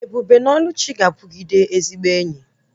Ebube na Oluchi ga-abụgide ezigbo enyi